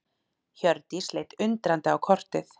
Hjördís leit undrandi á kortið.